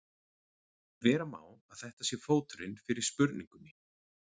Vera má að þetta sé fóturinn fyrir spurningunni.